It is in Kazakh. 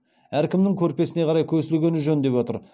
әркімнің көрпесіне қарай көсілгенін жөн деп отыр